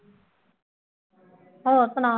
ਹੋਰ ਸੁਣਾ